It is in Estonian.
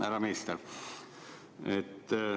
Härra minister!